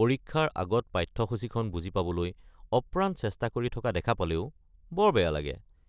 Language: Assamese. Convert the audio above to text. পৰীক্ষাৰ আগত পাঠ্যসূচিখন বুজি পাবলৈ অপ্ৰাণ চেষ্টা কৰি থকা দেখা পালেও বৰ বেয়া লাগে।